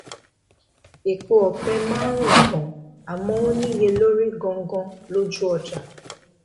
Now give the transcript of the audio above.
epo òpẹ máa rùn gan àmó níye lórí gan gan lójú ọjà